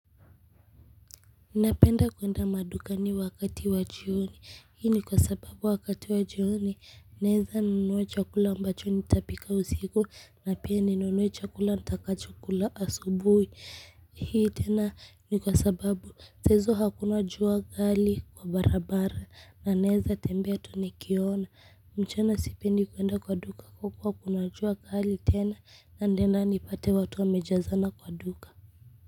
Napenda kuenda madukani wakati wa jioni. Hii ni kwa sababu wakati wa jioni. Naeza nunua chakula ambacho nitapika usiku. Na pia ninunue chakula nitakachokula asubuhi hii tena ni kwa sababu. Saa hizo hakuna jua kali kwa barabara. Na naeza tembea tu nikiona. Mchana sipendi kuenda kwa duka kwa kuwa kuna jua kali tena. Nitaenda nipate watu wamejazana kwa duka.